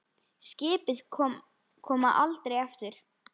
Skip koma aldrei aftur.